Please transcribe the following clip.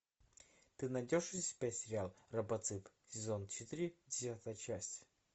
ты найдешь у себя сериал робоцып сезон четыре девятая часть